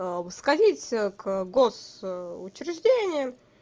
сходите ка в гос учреждения